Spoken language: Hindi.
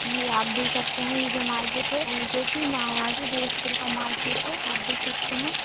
ये आप देख सकते हैं यह जो मार्केट है जो की महाराज जोधपुर का मार्केट है आप देख सकते हैं।